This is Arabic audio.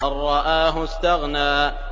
أَن رَّآهُ اسْتَغْنَىٰ